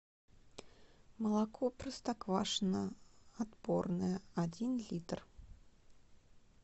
молоко простоквашино отборное один литр